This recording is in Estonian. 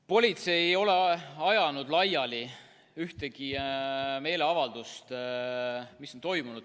Politsei ei ole ajanud laiali ühtegi meeleavaldust, mis on toimunud.